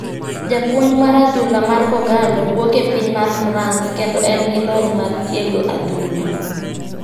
Japuonj mar adhula mar kogallo wuok e piny mar France kendo en gi lony mar tiego adhula.